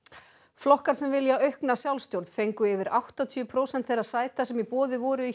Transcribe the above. flokkar sem vilja aukna sjálfsstjórn fengu yfir áttatíu prósent þeirra sæta sem í boði voru í